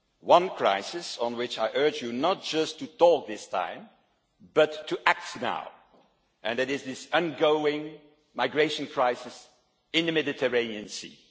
one crisis, which I urge you not just to talk about this time, but to act on now, and it is this ongoing migration crisis in the Mediterranean Sea.